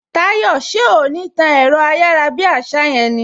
Táyò, ṣé o ò ní tán ẹ̀rọ ayárabíàṣá yẹn ni!